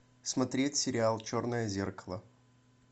смотреть сериал черное зеркало